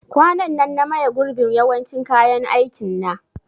Kwanan nan na maye gurbin yawancin kayan aikin na